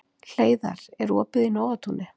Hleiðar, er opið í Nóatúni?